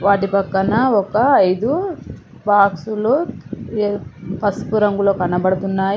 వాటి పక్కన ఒక ఐదు బాక్సులు పసుపు రంగులో కనబడుతున్నాయి.